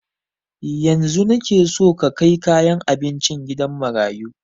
Yanzun nike son ka kai kayan abincin gidan marayu